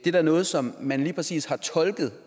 er da noget som man lige præcis har tolket